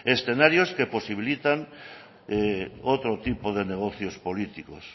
escenarios que posibilitan otro tipo de negocios políticos